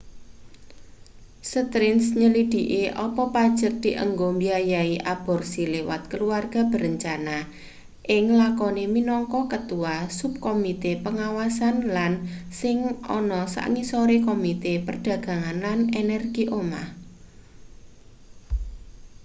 stearns nyelidhiki apa pajek dienggo mbiayai aborsi liwat keluarga berencana ing lakone minangka ketua subkomite pengawasan lan sing ana sangisore komite perdagangan lan energi omah